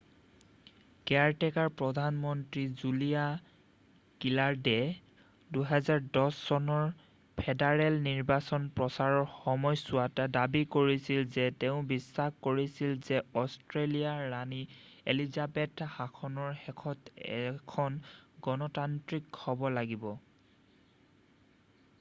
caretaker প্ৰধান মন্ত্ৰী Julia গিলাৰ্দয়ে ২০১০ চনৰ ফেডাৰেল নিৰ্বাচনৰ প্ৰচাৰৰ সময়ছোৱাত দাবী কৰিছিল যে তেওঁ বিশ্বাস কৰিছিল যে অষ্ট্ৰেলীয়া ৰাণী এলিজাবেথৰ শাসনৰ শেষত এখন গণতান্ত্ৰিক হ'ব লাগিব৷